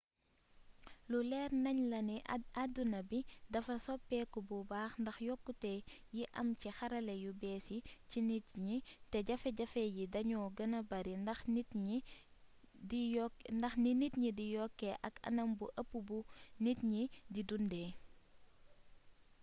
lu leer nañ la ni addina bi dafa soppeeku bu baax ndax yokkute yi am ci xarala yu bees yi ci nit ñi te jafe-jafe yi dañoo gëna bari ndax ni nit ñi di yokkee ak anam bu ëpp bu nit ñi di dundee